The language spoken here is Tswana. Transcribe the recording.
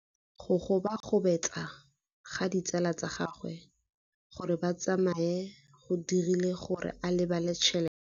Go gobagobetsa ga ditsala tsa gagwe, gore ba tsamaye go dirile gore a lebale tšhelete.